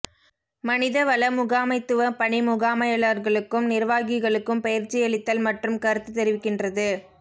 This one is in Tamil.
மனித வள முகாமைத்துவப் பணி முகாமையாளர்களுக்கும் நிர்வாகிகளுக்கும் பயிற்சியளித்தல் மற்றும் கருத்துத் தெரிவிக்கின்றது